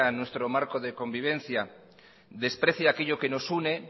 nuestro marco de convivencia desprecia aquello que nos une